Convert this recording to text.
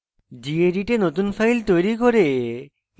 gedit a নতুন file তৈরি করে